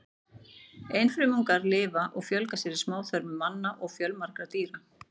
Einfrumungarnir lifa og fjölga sér í smáþörmum manna og fjölmargra dýra.